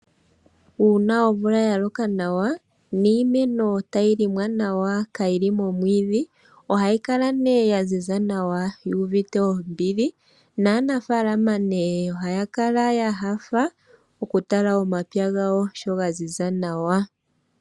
Uuna omvula yaloka nawa niimeno tayi helelwa nawa kaayili momwiidhi, ohayi kala yaziza nawa yuuvite ombili. Naanafaalama ohaya kala ya nyanyukwa okutala omapya gawo sho gaziza nawa.